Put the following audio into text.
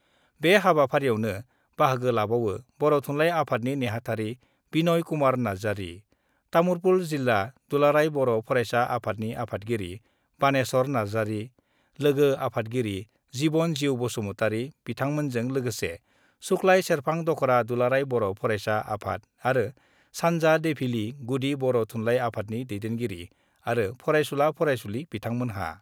बे हाबाफारियावनो बाहागो लाबावो बर' थुनलाइ आफादनि नेहाथारि बिनय कुमार नार्जारी, तामुलपुर जिल्ला दुलाराय बर' फरायसा आफादनि आफादगिरि बानेस्वर नार्जारि, लोगो आफादगिरि जिबन जिउ बसुमतारि बिथांमोनाजों लोगोसे सुक्लाय सेरफां दख'रा दुलारा बर' फाराइसा आफाद आरो सान्जा देफिलि गुदि बर' थुनलाइ आफादनि दैदेनगिरि आरो फरायसुला-फराइसुलि बिथांमोनहा।